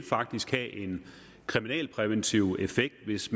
faktisk vil have en kriminalpræventiv effekt hvis